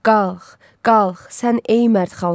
Qalx, qalx sən ey mərd xalq.